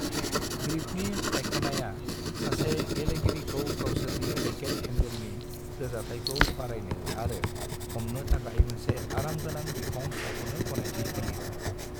ग्रिपनि सायखनाया सासे गेलेगिरिखौ गावसोरनि रेकेट हेन्डेलनि रोजाथायखौ बारायनो आरो हमनो थाखाय मोनसे आराम गोनां बिखं सायख'नो गनायथि होयो।